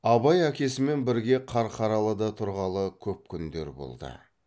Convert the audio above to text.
абай әкесімен бірге қарқаралыда тұрғалы көп күндер болды